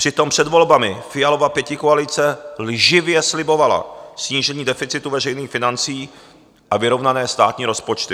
Přitom před volbami Fialova pětikoalice lživě slibovala snížení deficitu veřejných financí a vyrovnané státní rozpočty.